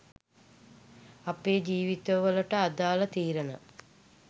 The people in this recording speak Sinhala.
අපේ ජීවිත වලට අදාල තීරණ